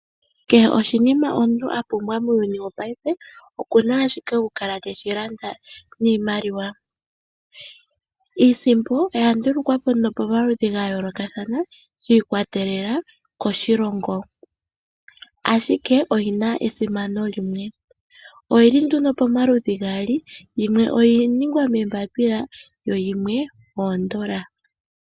Kehe oshinima omuntu a pumbwa muuyuni wopayife oku na ashike oku kala te shi landa niimaliwa. Iisimpo oya ndulukwa po ano pomaludhi ga yookathana yi ikwatelela koshilongo, ashike oyi na esimano limwe. Oyili ano nduno pomaludhi gaali yimwe oya ningwa moombapila yo yimwe oondola.